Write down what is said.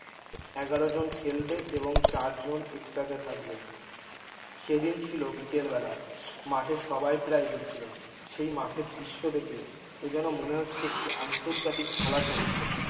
এগারো জন খেলবে এবং চার জন এক্সট্রাতে থাকবে। সেদিন ছিল বিকেল বেলা মাঠে সবাই প্রায় এসেছিল সেই মাঠের দৃশ্য দেখে এযেন মনে হচ্ছে একটি আন্তর্জাতিক খেলা চলছে।